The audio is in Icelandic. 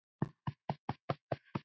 Fyrstur kemur, fyrstur fær.